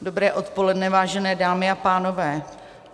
Dobré odpoledne, vážené dámy a pánové.